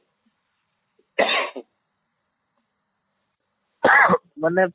ମାନେ